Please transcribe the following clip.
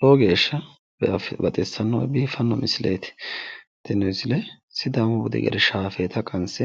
Lowo geeshsha baxissanno biiffanno misileeti. Tini misile sidaamu budi gede shaafeeta qanse